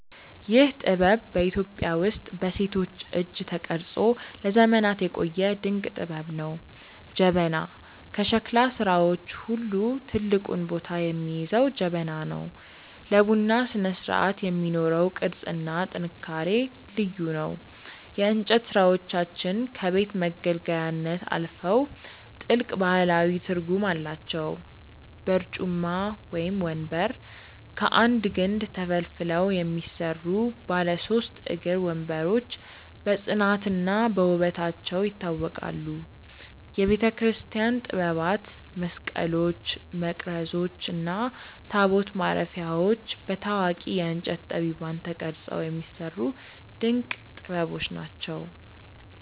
ይህ ጥበብ በኢትዮጵያ ውስጥ በሴቶች እጅ ተቀርጾ ለዘመናት የቆየ ድንቅ ጥበብ ነው። ጀበና፦ ከሸክላ ሥራዎች ሁሉ ትልቁን ቦታ የሚይዘው ጀበና ነው። ለቡና ስነስርዓት የሚኖረው ቅርጽና ጥንካሬ ልዩ ነው። የእንጨት ሥራዎቻችን ከቤት መገልገያነት አልፈው ጥልቅ ባህላዊ ትርጉም አላቸው። በርጩማ (ወንበር)፦ ከአንድ ግንድ ተፈልፍለው የሚሰሩ ባለ ሦስት እግር ወንበሮች በጽናትና በውበታቸው ይታወቃሉ። የቤተክርስቲያን ጥበባት፦ መስቀሎች፣ መቅረዞች እና ታቦት ማረፊያዎች በታዋቂ የእንጨት ጠቢባን ተቀርጸው የሚሰሩ ድንቅ ጥበቦች ናቸው።